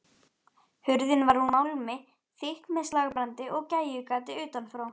Hurðin var úr málmi, þykk með slagbrandi og gægjugati utanfrá.